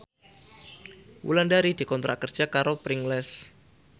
Wulandari dikontrak kerja karo Pringles